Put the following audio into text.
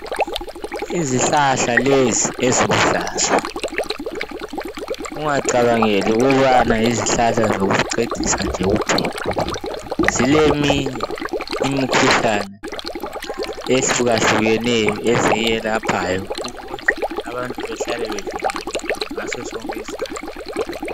Izihlahla lezi eziluhlaza ungacabangeli ukubana yizihlahla zokucecisa nje kuphela, zileminye imikhuhlane ehlukahlukeneyo eziyelaphayo ukuze abantu bevikelekile ngaso sonke isikhathi.